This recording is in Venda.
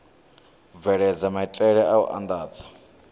bveledza maitele a u andadza